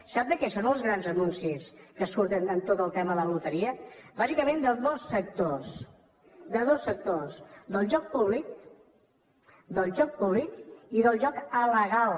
sap de què són els grans anuncis que surten amb tot el tema de la loteria bàsicament de dos sectors de dos sectors del joc públic del joc públic i del joc alegal